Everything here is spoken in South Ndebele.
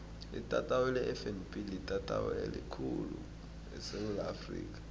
itatawu lefnb litatawu elikhulu khulu esewula afrika